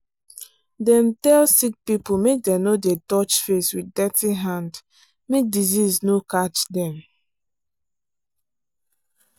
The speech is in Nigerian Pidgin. dem tell sick people make dem no dey touch face with dirty hand make disease no catch dem.